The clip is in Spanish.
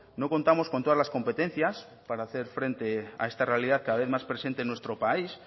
no contamos con todas las competencias para hacer frente a esta realidad cada vez más presente en nuestro país